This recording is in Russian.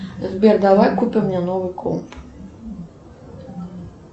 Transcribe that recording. сбер давай купим мне новый комп